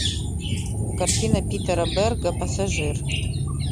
картина питера берга пассажир